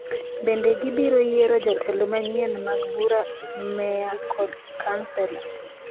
Bende gibiro yiero jotelo manyien mag bura, meya kod kansela.